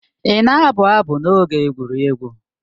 Ị na-abụ abụ n'oge egwuregwu?